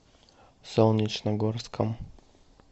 солнечногорском